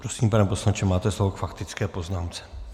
Prosím, pane poslanče, máte slovo k faktické poznámce.